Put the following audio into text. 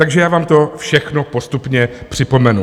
Takže já vám to všechno postupně připomenu.